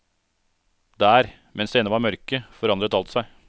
Der, mens det ennå var mørke, forandret alt seg.